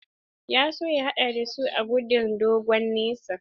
Ya so ya haɗa da su a gudun dogon nesa.